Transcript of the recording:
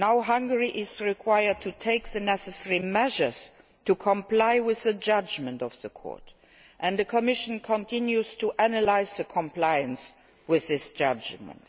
law. Hungary is required to take the necessary measures to comply with the judgment of the Court, and the Commission continues to analyse compliance with this judgment.